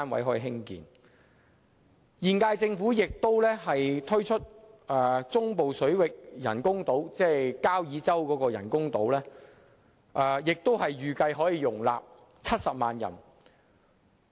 此外，現屆政府亦計劃在中部水域興建人工島，預計可以容納70萬人口。